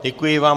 Děkuji vám.